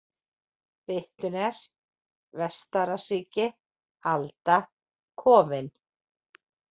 Byttunes, Vestarasíki, Alda, Kofinn